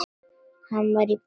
Hann var í böndum.